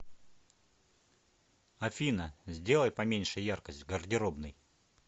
афина сделай поменьше яркость в гардеробной